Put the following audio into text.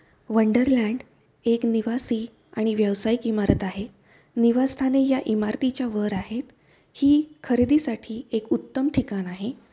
Wonderland एक निवासी आणि व्यवसायिक इमारत आहे. निवासस्थाने या इमारतीच्या वर आहेत. ही खरेदीसाठी एक उत्तम ठिकाण आहे.